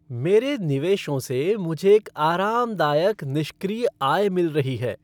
मेरे निवेशों से मुझे एक आरामदायक निष्क्रिय आय मिल रही है।